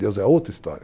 Deus é outra história.